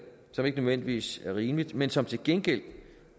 som ikke nødvendigvis er rimeligt men som til gengæld